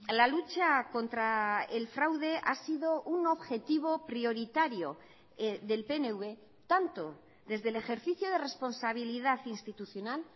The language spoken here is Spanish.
la lucha contra el fraude ha sido un objetivo prioritario del pnv tanto desde el ejercicio de responsabilidad institucional